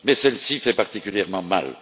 Mais celle ci fait particulièrement mal.